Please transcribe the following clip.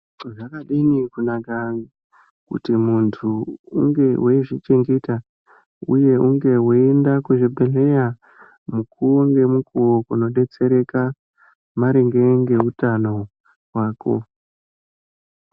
Zvakadini kunaka kuti muntu unge weyizvichengeta ,uye unge weyienda kuzvibhedhleya, mukuwo ngemukuwo kundodetsereka, maringe ngeutano hwako.